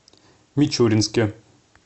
мичуринске